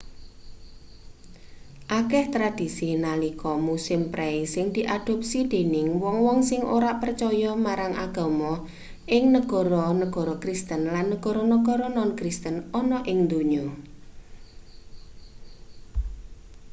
akeh tradhisi nalika musim prei sing diadopsi dening wong-wong sing ora precaya marang agama ing negoro-negoro kristen lan negara-negara non-kristen ana ing ndonya